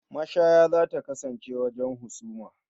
Mashaya za ta kasance wajen husuma.